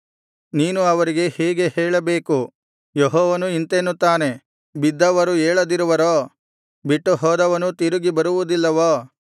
ನೀನು ಅವರಿಗೆ ಹೀಗೆ ಹೇಳಬೇಕು ಯೆಹೋವನು ಇಂತೆನ್ನುತ್ತಾನೆ ಬಿದ್ದವರು ಏಳದಿರುವರೋ ಬಿಟ್ಟುಹೋದವನು ತಿರುಗಿ ಬರುವುದಿಲ್ಲವೋ